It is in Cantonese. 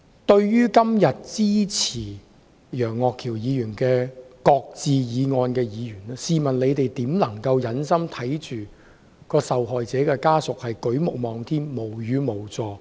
對於今天支持楊岳橋議員的"擱置議案"的議員，試問他們如何能夠忍心看着受害者家屬舉目望天、無語無助？